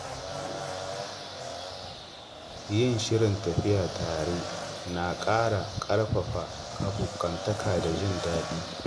Yin shirin tafiya tare na ƙara ƙarfafa abokantaka da jin daɗi.